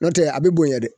N'o tɛ a bɛ bonya dɛ